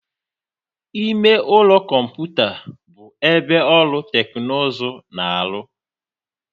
Ime ụlọ kọmputa bụ ebe ọrụ teknụzụ na-arụ.